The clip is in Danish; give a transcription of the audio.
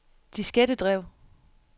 diskettedrev